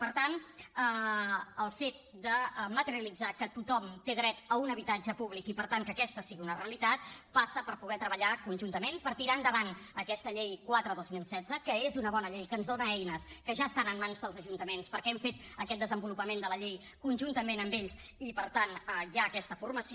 per tant el fet de materialitzar que tothom té dret a un habitatge públic i per tant que aquesta sigui una realitat passa per poder treballar conjuntament per tirar endavant aquesta llei quatre dos mil setze que és una bona llei que ens dona eines que ja estan en mans dels ajuntaments perquè hem fet aquest desenvolupament de la llei conjuntament amb ells i per tant hi ha aquesta formació